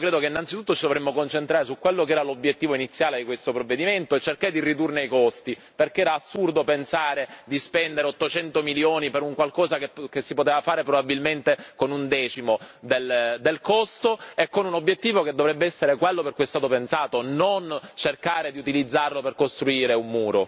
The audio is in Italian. Io credo che ci dovremmo innanzitutto concentrare su quello che era l'obiettivo iniziale di questo provvedimento e cercare di ridurne i costi, perché è assurdo pensare di spendere 800 milioni per qualcosa che si poteva fare probabilmente con un decimo del costo e con un obiettivo che dovrebbe essere quello per cui è stato pensato, non cercare di utilizzarlo per costruire un